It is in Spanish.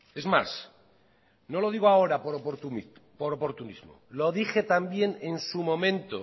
es más no lo digo ahora por oportunismo lo dije también en su momento